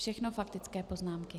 Všechno faktické poznámky.